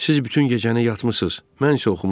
Siz bütün gecəni yatmısız, mən isə oxumuşam.